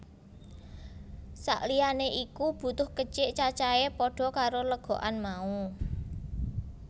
Sak liyané iku butuh kecik cacahé padha karo legokan mau